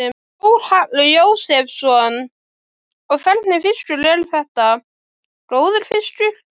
Þórhallur Jósefsson: Og hvernig fiskur er þetta, góður fiskur?